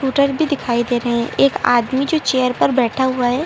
भी दिखाई दे रहे एक आदमी जो चेयर पर बैठा हुआ है।